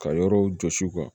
Ka yɔrɔw jɔsi u kan